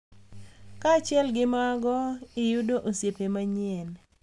Kaachiel gi mago, iyudo osiepe manyien